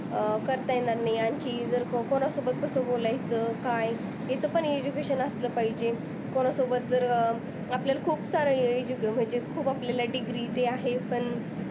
अं करता येणार नाही आणखी जर कोणासोबत कस बोलायचं. काय ह्याच पण education असलं पाहिजे. कोणासोबत जर अं आपल्याला खूप सारं education म्हणजे खूप आपल्याला degree ते आहे पण,